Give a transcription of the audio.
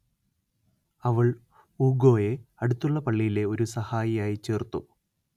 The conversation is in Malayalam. അവൾ ഊഗോയെ അടുത്തുള്ള പള്ളിയിലെ ഒരു സഹായിയായി ചേർത്തു